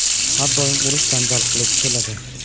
Har doim urush-janjal qilib keladi.